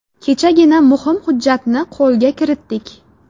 Kechagina muhim hujjatni qo‘lga kiritdik.